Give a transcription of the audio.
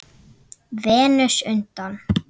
Venus undan